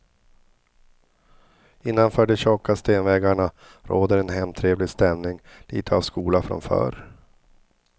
Innanför de tjocka stenväggarna råder en hemtrevlig stämning, litet av skola från förr.